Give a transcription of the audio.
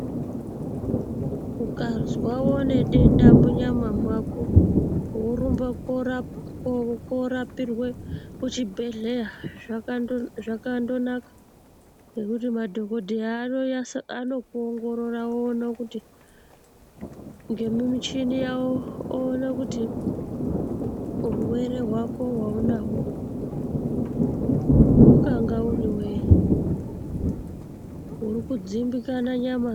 Ukazwa une denda munyama yako, worumba korapirwe kuchibhedhlera zvakandonaka nekuti madhokodheya anokuongorora ngemichini yawo oona kuti urwere hwako hwaunahwo ungava uri wei urikudzimbikana nyama ngei.